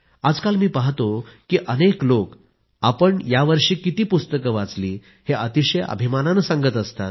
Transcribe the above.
आजकल मी पाहतो की अनेक लोक आपण यावर्षी किती पुस्तकं वाचली हे अतिशय अभिमानानं सांगत असतात